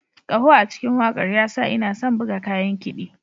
Ƙaho a cikin wakar ya sa ina son buga kayan kiɗi.